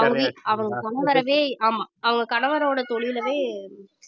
அவங்க வி~ அவங்க முன்வரவே ஆமா அவங்க கணவரோட தொழிலவே